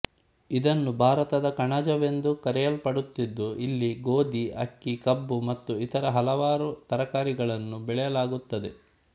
ಇದನ್ನು ಭಾರತದ ಕಣಜವೆಂದು ಕರೆಯಲ್ಪಡುತ್ತಿದ್ದು ಇಲ್ಲಿ ಗೋಧಿ ಅಕ್ಕಿ ಕಬ್ಬು ಮತ್ತು ಇತರ ಹಲವಾರು ತರಕಾರಿಗಳನ್ನು ಬೆಳೆಯಲಾಗುತ್ತದೆ